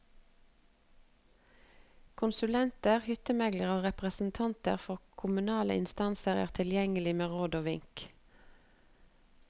Konsulenter, hyttemeglere og representanter for kommunale instanser er tilgjengelige med råd og vink.